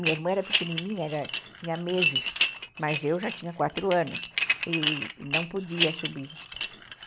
Minha irmã era pequenininha, era, tinha meses, mas eu já tinha quatro anos e não podia subir.